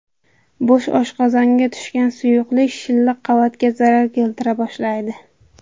Bo‘sh oshqozonga tushgan suyuqlik shilliq qavatga zarar keltira boshlaydi.